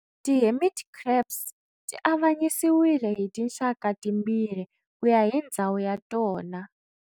Ti hermit crabs ti avanyisiwile hi tinxaka timbirhi kuya hi ndzhawu ya tona.